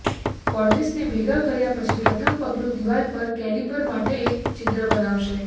કોર્નિસને ભેગા કર્યા પછી પ્રથમ પગલું દિવાલ પર કેલિપર માટે એક છિદ્ર બનાવશે